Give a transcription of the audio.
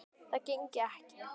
Það gengi ekki